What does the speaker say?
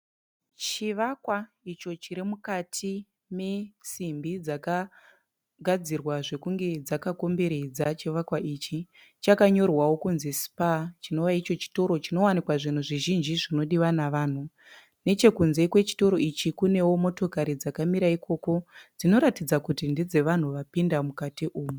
Chivakwa icho chiri mukati mesimbi dzakagadzirwa zvokunge dzakakomberedza chivakwa ichi, chakanyorwawo kunzi Spar chinova icho chitoro chinowanikwa zvinhu zvizhinji zvinodiwa nevanhu. Nechekunze kwechitoro ichi kunewo motokari dzakamira ikoko dzinoratidza kuti ndedzevanhu vapinda mukati umu.